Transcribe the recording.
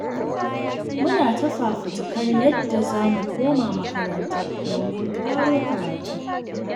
Muna ta fafutukar yadda za mu koma makaranta domin ƙaro karatu.